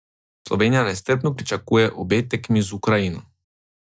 Slovenija nestrpno pričakuje obe tekmi z Ukrajino.